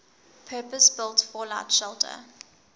purpose built fallout shelter